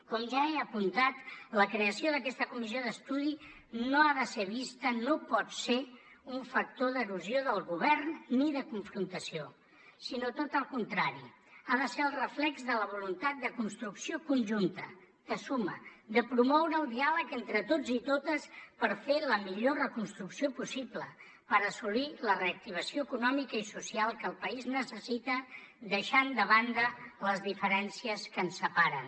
com ja he apuntat la creació d’aquesta comissió d’estudi no ha de ser vista no pot ser un factor d’erosió del govern ni de confrontació sinó tot el contrari ha de ser el reflex de la voluntat de construcció conjunta de suma de promoure el diàleg entre tots i totes per fer la millor reconstrucció possible per assolir la reactivació econòmica i social que el país necessita deixant de banda les diferències que ens separen